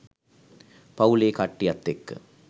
පවු‍ලේ කට්ටියත් එක්ක